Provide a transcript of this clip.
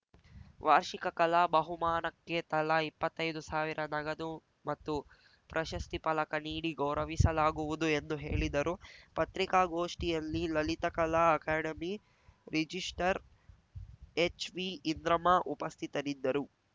ವಾರ್ಷಿಕ ಕಲಾ ಬಹುಮಾನಕ್ಕೆ ತಲಾ ಇಪ್ಪತ್ತೈದು ಸಾವಿರ ನಗದು ಮತ್ತು ಪ್ರಶಸ್ತಿ ಫಲಕ ನೀಡಿ ಗೌರವಿಸಲಾಗುವುದು ಎಂದು ಹೇಳಿದರು ಪತ್ರಿಕಾಗೋಷ್ಠಿಯಲ್ಲಿ ಲಲಿತಕಲಾ ಅಕಾಡೆಮಿ ರಿಜಿಸ್ಟ್ರಾರ್‌ ಎಚ್‌ವಿಇಂದ್ರಮ್ಮ ಉಪಸ್ಥಿತರಿದ್ದರು